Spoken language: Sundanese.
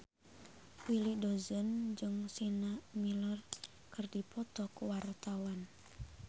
Willy Dozan jeung Sienna Miller keur dipoto ku wartawan